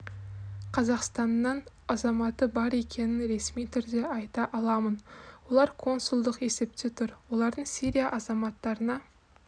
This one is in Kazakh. қазақстанның азаматы бар екенін ресми түрде айта аламын олар консулдық есепте тұр олардың сирия азаматтарына